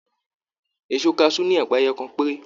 Èso kasu ní ẹpa ẹyọkan pere.